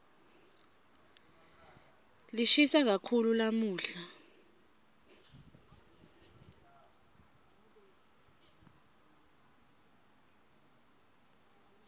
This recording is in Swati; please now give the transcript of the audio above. lishisa kakhulu lamuhla